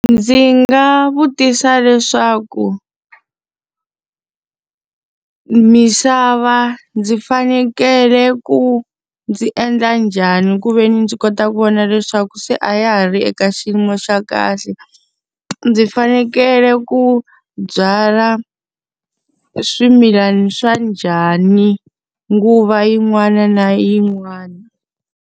Ndzi nga vutisa leswaku misava ndzi fanekele ku ndzi endla njhani ku ve ni ndzi kota ku vona leswaku se a a ya ha ri eka xiyimo xa kahle? Ndzi fanekele ku byala swimilana swa njhani nguva yin'wana na yin'wana?